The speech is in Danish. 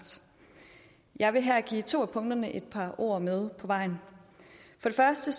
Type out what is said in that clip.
jeg vil her give to af punkterne et par ord med på vejen for det første